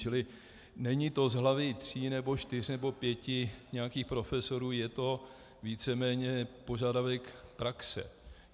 Čili není to z hlavy tří nebo čtyř nebo pěti nějakých profesorů, je to víceméně požadavek praxe.